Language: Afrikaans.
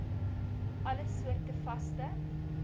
alle soorte vaste